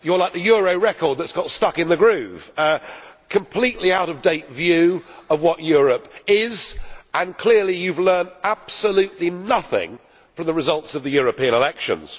You are like the euro record that has got stuck in a groove a completely out of date view of what Europe is. Clearly you have learned absolutely nothing from the results of the European elections.